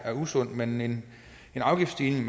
usundt men en afgiftsstigning